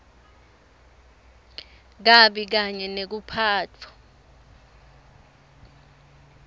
kabi kanye nekuphatfwa